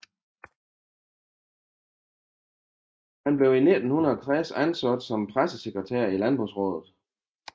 Han blev i 1960 ansat som pressesekretær i Landbrugsraadet